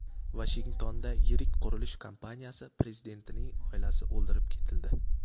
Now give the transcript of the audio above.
Vashingtonda yirik qurilish kompaniyasi prezidentining oilasi o‘ldirib ketildi.